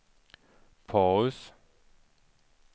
paus